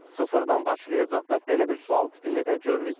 Sıfırdan başlayacaqdır, belə bir sual tipini də görməyibdir.